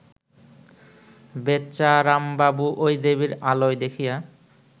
বেচারামবাবু ঐ দেবীর আলয় দেখিয়া